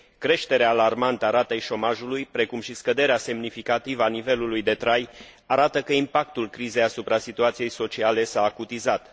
Creșterea alarmantă a ratei șomajului, precum și scăderea semnificativă a nivelului de trai arată că impactul crizei asupra situației sociale s a acutizat.